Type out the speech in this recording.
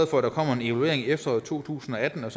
for at der kommer en evaluering efter år to tusind og atten og